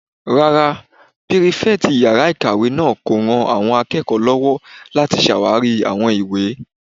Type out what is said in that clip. Rárá, pírífẹ̀tì yàrá-ìkàwé náà kò ran àwọn akẹ́kọ̀ọ́ lọ́wọ́ láti ṣàwarí àwọn ìwé